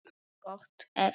Gott ef ekki.